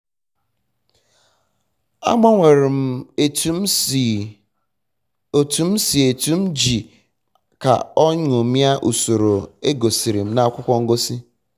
agbanwere m otu m si etu ji m ka o nyomie usoro egosiri na akwụkwọ ngosi